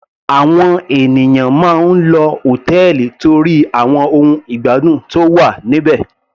Àwọn ènìyàn máa ń lọ hòtẹ́ẹ̀lì torí àwọn ohun ìgbádùn tó wà níbẹ̀.